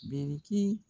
Biriki